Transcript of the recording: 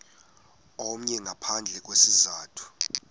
omnye ngaphandle kwesizathu